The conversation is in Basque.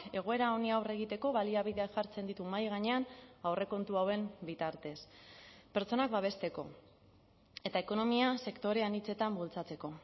egoera honi aurre egiteko baliabideak jartzen ditu mahai gainean aurrekontu hauen bitartez pertsonak babesteko eta ekonomia sektore anitzetan bultzatzeko